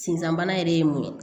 Sinzan bana yɛrɛ ye mun ye